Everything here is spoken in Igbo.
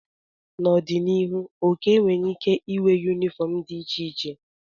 N'ọdịnihu, Okey nwere ike ịnwe yunifọọm dị iche iche.